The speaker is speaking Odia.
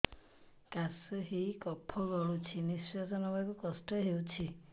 କାଶ ହେଇ କଫ ଗଳୁଛି ନିଶ୍ୱାସ ନେବାକୁ କଷ୍ଟ ହଉଛି